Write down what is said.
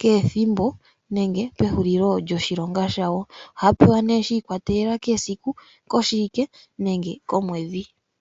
kehethimbo nenge pehulilo lyoshilonga shawo ohaya pewa shikwatelela kesiku, koshiwike nenge komwedhi.